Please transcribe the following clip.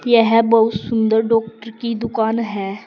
यह बहुत सुंदर डॉक्टर की दुकान है।